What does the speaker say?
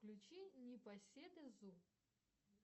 включи непоседы зу